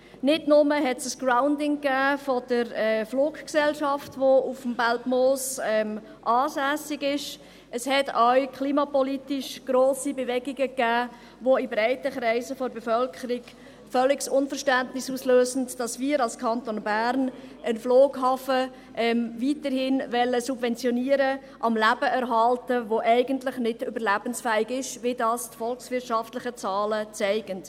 Nicht nur gab es ein Grounding der Fluggesellschaft, welche auf dem Belpmoos ansässig ist, es gab auch klimapolitisch grosse Bewegungen, was in breiten Kreisen der Bevölkerung völliges Unverständnis auslöst, dass wir als Kanton Bern weiterhin einen Flughafen subventionieren wollen, am Leben erhalten, der eigentlich nicht überlebensfähig ist, wie dies die volkswirtschaftlichen Zahlen zeigen.